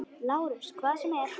LÁRUS: Hvað sem er.